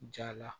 Ja la